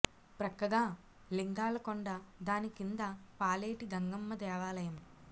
ప్రక్కగా లింగాల కొండ దాని కింద పాలెటి గంగమ్మ దేవాలయం